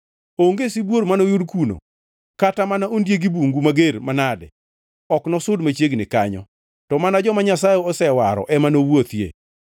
Onge sibuor manoyud kuno kata mana ondieg bungu mager manade, ok nosud machiegni kanyo. To mana joma Nyasaye osewaro ema nowuothie,